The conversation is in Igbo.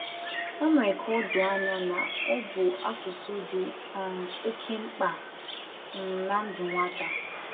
O mere ka o doo anya na ọ bụ asụsụ dị um oke mkpa na um ndụ nwata